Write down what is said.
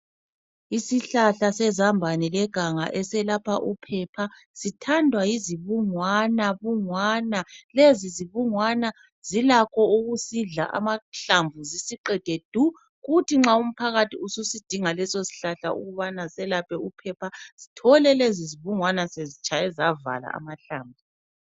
Isihlahla sezambane leganga eselapha uphepha . Sithandwa yizibungwana bungwana. Lezi zibungwana zilakho ukusidla amahlamvu zisiqede du kuthi nxa umphakathi ususidinga leso sihlahla ukubana selaphe uphepha sithole lezi zibungwana sezitshaye zavala amahlamvu.